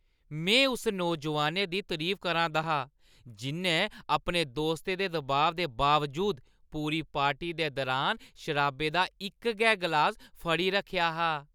में उस नौजोआनै दी तरीफ करा 'रदा हा जि'न्नै अपने दोस्तें दे दबाऽ दे बावजूद पूरी पार्टी दे दुरान शराबै दा इक गै ग्लास फड़ी रक्खेआ हा।